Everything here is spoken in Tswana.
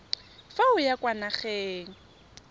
fa o ya kwa nageng